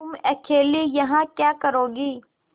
तुम अकेली यहाँ क्या करोगी